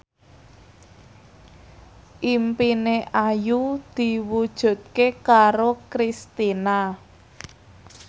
impine Ayu diwujudke karo Kristina